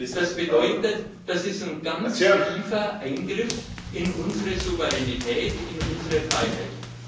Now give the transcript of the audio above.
Das bedeutet einen ganz tiefen Eingriff in unsere Souveränität, in unsere Freiheit.